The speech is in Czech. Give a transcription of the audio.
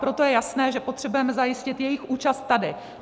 Proto je jasné, že potřebujeme zajistit jejich účast tady.